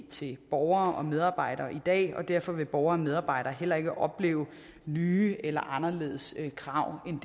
til borgere og medarbejdere i dag og derfor vil borgere og medarbejdere heller ikke opleve nye eller anderledes krav end